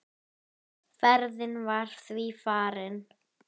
Frísk, ungleg og alltaf smart.